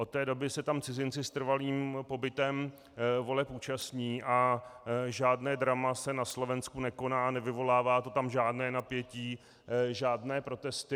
Od té doby se tam cizinci s trvalým pobytem voleb účastní a žádné drama se na Slovensku nekoná, nevyvolává to tam žádné napětí, žádné protesty.